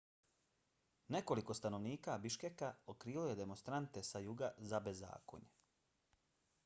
nekoliko stanovnika biškeka okrivilo je demonstrante sa juga za bezakonje